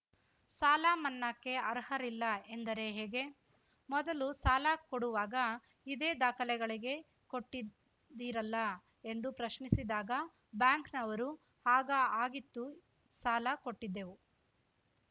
ಸಾಲಮನ್ನಾಕ್ಕೆ ಅರ್ಹರಿಲ್ಲ ಎಂದರೆ ಹೇಗೆ ಮೊದಲು ಸಾಲ ಕೊಡುವಾಗ ಇದೇ ದಾಖಲೆಗಳಿಗೆ ಕೊಟ್ಟಿದ್ದೀರಲ್ಲ ಎಂದು ಪ್ರಶ್ನಿಸಿದಾಗ ಬ್ಯಾಂಕ್‌ನವರು ಆಗ ಹಾಗಿತ್ತು ಸಾಲ ಕೊಟ್ಟಿದ್ದೇವು